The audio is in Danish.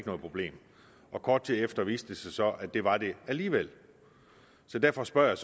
noget problem kort tid efter viste det sig så at det var det alligevel derfor spørger jeg